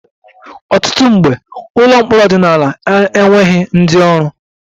Ọtụtụ mgbe, ụlọ mkpọrọ ọdịnala na-enweghị ndị ọrụ